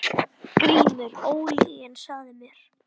GRÍMUR: Ólyginn sagði mér.